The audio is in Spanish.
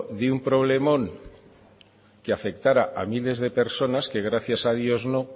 de un problemón que afectara a miles de personas que gracias a dios no